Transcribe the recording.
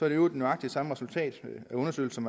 i øvrigt nøjagtig samme resultat af undersøgelsen